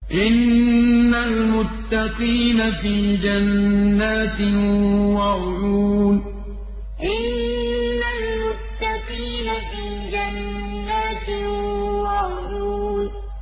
إِنَّ الْمُتَّقِينَ فِي جَنَّاتٍ وَعُيُونٍ إِنَّ الْمُتَّقِينَ فِي جَنَّاتٍ وَعُيُونٍ